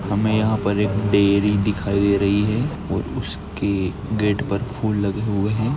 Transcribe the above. हमे यहा पर एक डेअरी दिखाई दे रही है। और उसकी गेट पर फूल लगे हुए है।